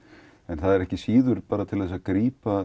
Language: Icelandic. það er ekki síður til að grípa